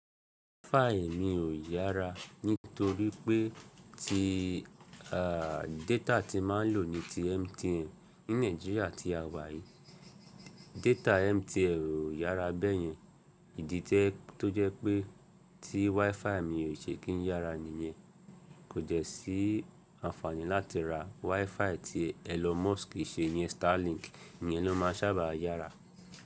WiFi mi ò yára nítorí pé tí, à, data tí máa ń lò ní ti MTN. Ní Nàìjíríà tí a wà yìí, data MTN ò yára bẹ́ẹ̀ yẹn. Ìdí ti tó jẹ́ pé tí WiFi mi ò ṣe kí ń yára nìyẹn. Kò jẹ́ sí àǹfààní láti ra WiFi tí Elon Musk ṣe iyẹn, Starlink, èyí ló máa sábà yára.